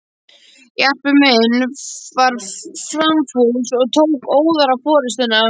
Jarpur minn var framfús og tók óðara forustuna.